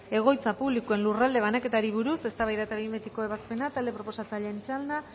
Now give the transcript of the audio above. egoitza publikoei lurralde banaketari buruz eztabaida eta behin betiko ebazpena talde proposatzailean txanda